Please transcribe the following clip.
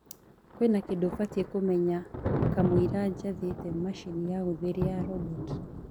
kwĩna kindu mbataire kumenya kamuira njathite machĩnĩ ya gutherĩa ya robot